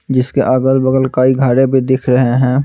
जिसके अगल-बगल कई घड़े भी दिख रहे हैं।